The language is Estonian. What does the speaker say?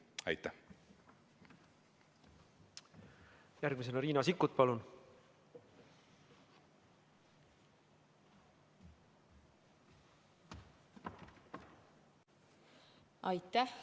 Aitäh!